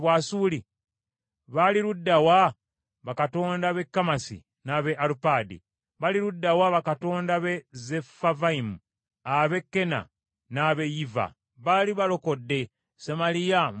Bali ludda wa bakatonda b’e Kamasi n’ab’e Alupadi? Bali ludda wa bakatonda b’e Sefavayimu, ab’e Kena n’ab’e Yiva? Baali balokodde Samaliya mu mukono gwange?